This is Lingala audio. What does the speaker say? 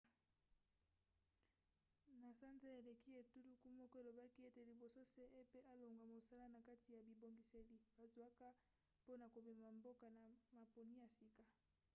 na sanza eleki etuluku moko elobaki ete liboso cep alongwa mosala na kati ya bibongiseli bazwaki mpona komema mboka na maponi ya sika